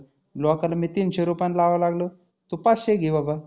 लोकाला मी तीनशे रुपयानं लावायला लागलो तु पाचशे घे बाबा.